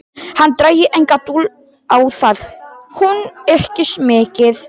Hann drægi enga dul á það: hún ykist mikið.